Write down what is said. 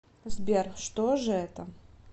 сбер что же это